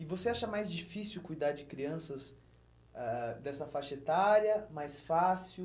E você acha mais difícil cuidar de crianças ãh ãh dessa faixa etária, mais fácil?